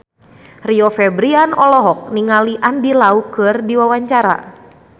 Rio Febrian olohok ningali Andy Lau keur diwawancara